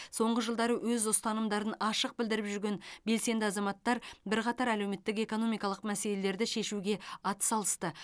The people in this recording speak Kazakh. соңғы жылдары өз ұстанымдарын ашық білдіріп жүрген белсенді азаматтар бірқатар әлеуметтік экономикалық мәселелерді шешуге атсалысты